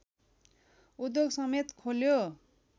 उद्योगसमेत खोल्यो